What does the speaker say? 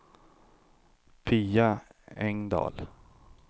Pia Engdahl